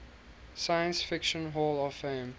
science fiction hall of fame